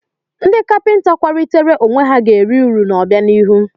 Ndị kapịnta kwalitere onwe ha ga eri uru n'obianihu.